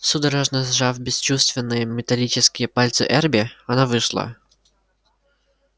судорожно сжав бесчувственные металлические пальцы эрби она вышла